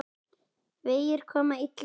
Vegir koma illa undan vetri.